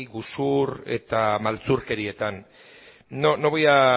gezur eta maltzurkerietan